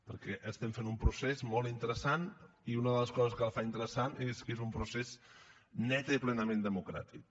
perquè estem fent un procés molt interessant i una de les coses que el fa interessant és que és un procés netament i plenament democràtic